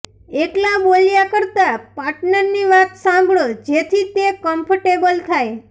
એકલા બોલ્યા કરતા પાર્ટનરની વાત સાંભળો જેથી તે કમ્ફર્ટેબલ થાય